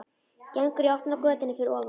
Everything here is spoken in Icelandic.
Gengur í áttina að götunni fyrir ofan.